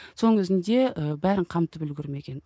соның өзінде і бәрін қамтып үлгермеген